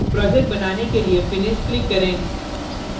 project बनाने के लिए finish click करें